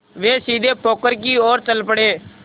वे सीधे पोखर की ओर चल पड़े